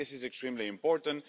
This is extremely important.